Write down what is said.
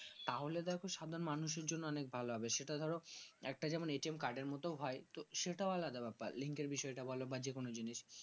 তাহলে দেখো সামনে মানুষের জন্য অনেক ভালো হবে সেটা ধরো একটা যেমন A T M card এ মত হয় সেটা আলাদা ব্যাপার link এর বিষয়টা বল যে কোন জিনিস